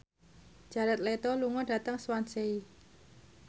Jared Leto lunga dhateng Swansea